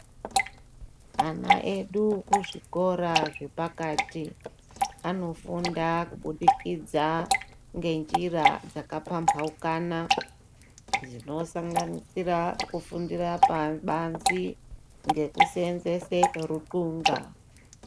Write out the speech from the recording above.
Ana edu kuzvikora zvepakati anofunda kubudikidza ngenjira dzakapambaukana dzinosanganisira kufundira pabanzi ngekuseenzese rutunga.